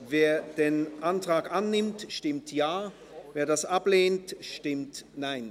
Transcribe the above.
Wer den Antrag annehmen will, stimmt Ja, wer ihn ablehnt, stimmt Nein.